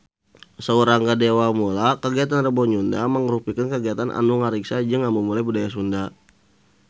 Saur Rangga Dewamoela kagiatan Rebo Nyunda mangrupikeun kagiatan anu ngariksa jeung ngamumule budaya Sunda